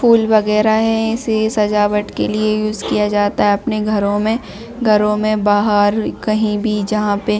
फूल वगैरह है इसे सजावट के लिए यूज़ किया जाता है अपने घरो में घरो में बाहर कही भी जहा पे--